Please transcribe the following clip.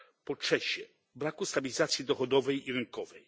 Po trzecie braku stabilizacji dochodowej i rynkowej.